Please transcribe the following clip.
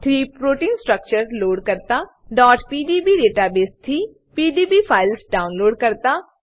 થી proteins structure load કરતા pdb database થી પીડીબી ફાઈલ્સ ડાઉનલોડ કરતા